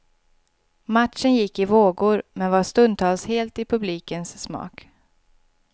Matchen gick i vågor, men var stundtals helt i publikens smak.